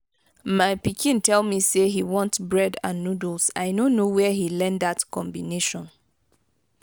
my pikin tell me say he want bread and noodles. i no know where he learn dat combination.